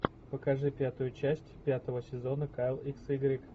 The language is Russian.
покажи пятую часть пятого сезона кайл икс игрек